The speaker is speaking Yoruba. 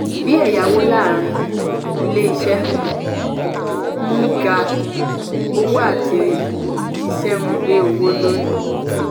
bí ẹ̀yáwó láàrin ilé iṣẹ́ um ń um ga ówó àti ìṣe ń gbé owó lórí.